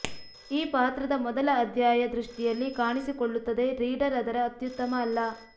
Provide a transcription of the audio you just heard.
ಈ ಪಾತ್ರದ ಮೊದಲ ಅಧ್ಯಾಯ ದೃಷ್ಟಿಯಲ್ಲಿ ಕಾಣಿಸಿಕೊಳ್ಳುತ್ತದೆ ರೀಡರ್ ಅದರ ಅತ್ಯುತ್ತಮ ಅಲ್ಲ